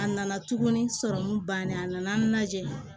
A nana tuguni sɔrɔmu bannen a nana lajɛ